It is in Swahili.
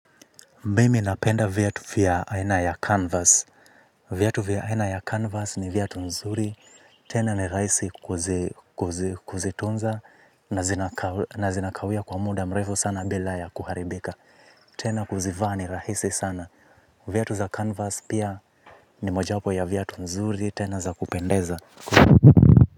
Mimi napenda viatu vya aina ya canvas. Viatu vya aina ya canvas ni viatu nzuri. Tena ni rahisi kuzitunza na zinakawia kwa muda mrefu sana bila ya kuharibika. Tena kuzivaa ni rahisi sana. Viatu za canvas pia ni mojawapo ya viatu nzuri tena za kupendeza.